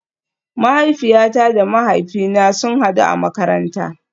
Mahaifiyata da mahaifina sun hadu a makaranta